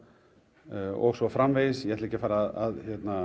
og svo framvegis ég ætla ekki að fara að